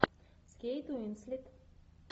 с кейт уинслет